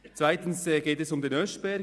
Weiter geht es um den Oeschberg.